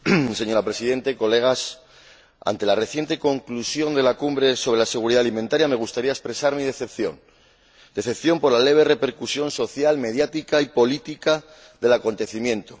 Señora Presidenta, colegas, ante la reciente conclusión de la Cumbre sobre seguridad alimentaria, me gustaría expresar mi decepción por la leve repercusión social, mediática y política del acontecimiento.